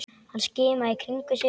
Hann skimaði í kringum sig.